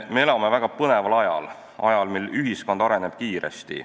Me elame väga põneval ajal – ajal, mil ühiskond areneb kiiresti.